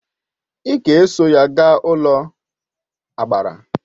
Ị ga eso ya gaa n'ụlọagbara!